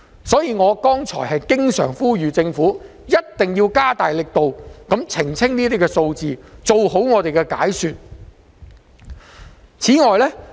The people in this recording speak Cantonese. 所以，我剛才不斷呼籲政府必須加大力度澄清有關數字，做好解說工作。